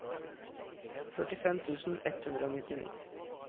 førtifem tusen ett hundre og nittini